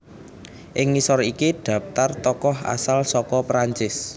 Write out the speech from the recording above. Ing ngisor iki dhaptar tokoh asal saka Prancis